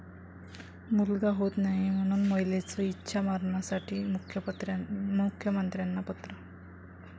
मुलगा होत नाही म्हणून महिलेचं इच्छा मरणासाठी मुख्यमंत्र्यांना पत्र